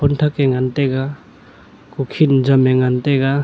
thak ke ngan taiga kukhin jam e ngan taiga.